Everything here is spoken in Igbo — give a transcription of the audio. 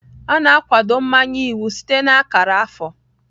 A na-akwado mmanye iwu site na akara afọ.